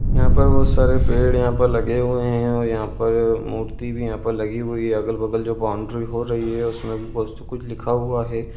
यहाँ पर बहोत सारे पड़े यहाँ पर लगे हुए हैं और यहाँ पर मूर्ति भी यहाँ पर लगी हुई अगल-बगल जो बाउंड्री हो रही हैं उसमें भी बहोत कुछ लिखा हुआ हैं।